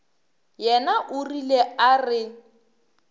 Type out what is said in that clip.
yena o rile a re